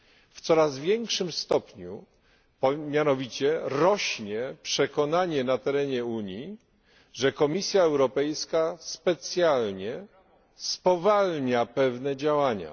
W coraz większym stopniu mianowicie rośnie przekonanie na terenie Unii, że Komisja Europejska specjalnie spowalnia pewne działania.